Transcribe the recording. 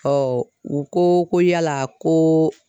u ko ko yala koo